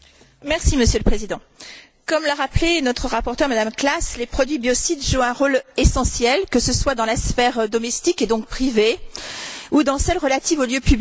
Monsieur le Président, comme l'a rappelé notre rapporteure, Mme Klass, les produits biocides jouent un rôle essentiel, que ce soit dans la sphère domestique, et donc privée, ou dans celle relative aux lieux publics.